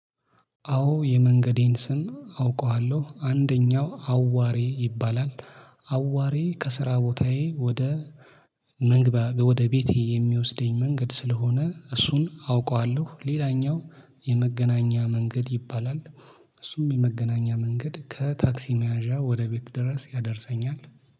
አዎ የመንገዴን ስም አውቀዋለሁ አንደኛው አዋሬ ይባላል። አዋሬ ከስራ ቦታዬ ወደ መንግባ ወደ ቤቴ የሚወስደኝ መንገድ ስለሆነ እሱን አውቀዋለሁ። ሌላኛው የመገናኛ መንገድ ይባላል። እሱም የመገናኛ መንገድ ከታክሲ መያዣ ወደ ቤት ድረስ ያደርሰኛል